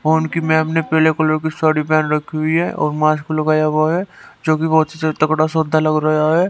Phone की ma'am ने पीले कलर की साड़ी पहन रखी हुई है और मास्क लगाया हुआ है जो कि बहुत से तगड़ा सौदा लग रहा है।